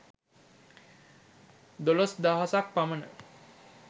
දොළොස් දහසක් පමණ